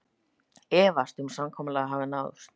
Efast um að samkomulag náist